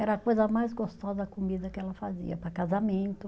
Era a coisa mais gostosa, a comida que ela fazia para casamento.